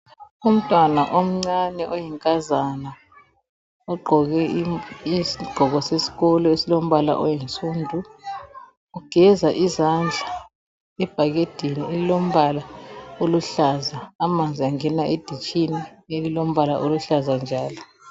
Umntwana omncane oyinkazana ogqoke isigqoko sesikolo esilombala oyinsundu. Ugeza izandla ebhakedeni elilombala oluhlaza, amanzi angena editshini elilombala oluhlaza njalo.